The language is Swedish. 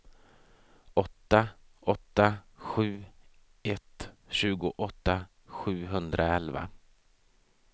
åtta åtta sju ett tjugoåtta sjuhundraelva